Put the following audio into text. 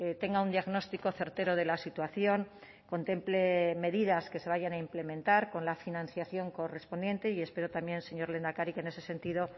tenga un diagnóstico certero de la situación contemple medidas que se vayan a implementar con la financiación correspondiente y espero también señor lehendakari que en ese sentido